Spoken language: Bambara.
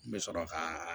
N bɛ sɔrɔ ka